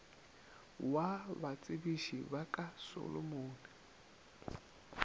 wa batsebiši ba ka solomon